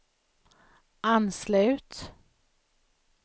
anslut